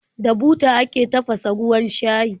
Da buta ake tafasa ruwan shayi.